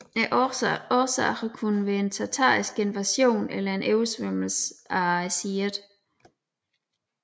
Årsagerne kunne have været en tatarisk invasion eller en oversvømmelse af Siret